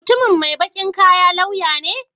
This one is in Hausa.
Mutumin mai baƙin kaya lauya ne?